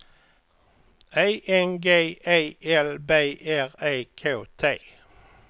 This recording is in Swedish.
E N G E L B R E K T